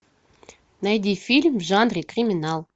найди фильм в жанре криминал